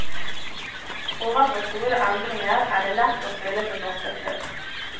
Overfor store endringer er det lett å føle seg maktesløs.